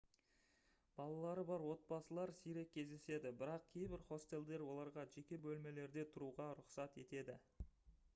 балалары бар отбасылар сирек кездеседі бірақ кейбір хостелдер оларға жеке бөлмелерде тұруға рұқсат етеді